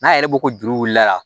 N'a yɛrɛ ko ko juru wulila